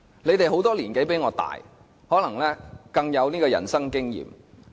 他們有很多年紀比我大，可能更有人生經驗。